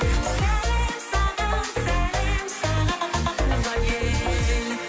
сәлем саған сәлем саған туған ел